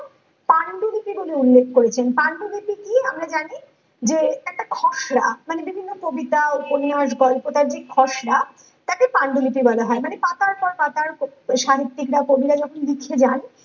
পাণ্ডুলিপি বলে উল্লেখ করেছেন পাণ্ডুলিপি কি আমরা জানি যে একটা খসড়া মানে বিভিন্ন কবিতা উপন্যাস গল্পটা যে খসড়া তাকে পাণ্ডুলিপি বলা হয় মানে পাতার পর পাতার এই সাহিত্যিক বা কবিরা যখন লিখে যান